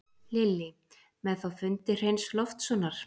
Lillý: Með þá fundi Hreins Loftssonar?